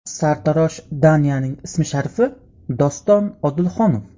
Sartarosh Danyaning ism-sharifi Doston Odilxonov.